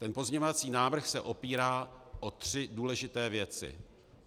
Ten pozměňovací návrh se opírá o tři důležité věci.